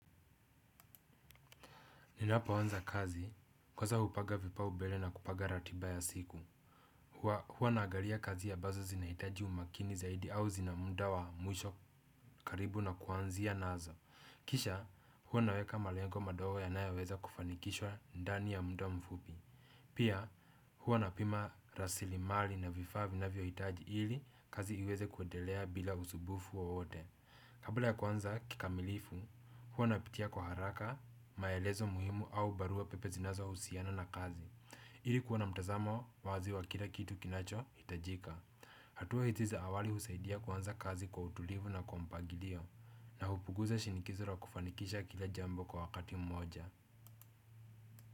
Ninapoanza kazi kwanza hupaga vipa ubele na kupaga ratiba ya siku. Huwa nagalia kazi abazo zinahitaji umakini zaidi au zina muda wa mwisho karibu na kuanzia nazo. Kisha, huwa naweka malengo madogo yanayo weza kufanikishwa ndani ya muda mfupi. Pia, huwa napima rasilimali na vifaa vinavyo hitaji ili kazi iweze kuedelea bila usubufu wowote. Kabla ya kwanza kikamilifu, huwa napitia kwa haraka, maelezo muhimu au barua pepe zinazo husiana na kazi. Ili kuwa na mtazamo wazi wa kila kitu kinacho, itajika hatua hizi za awali husaidia kuanza kazi kwa utulivu na kwa mpagilio. Na hupuguza shinikizo la kufanikisha kila jambo kwa wakati mmoja.